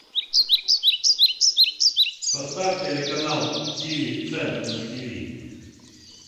поставь телеканал тв центр на тв